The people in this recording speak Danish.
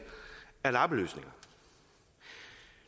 er lappeløsninger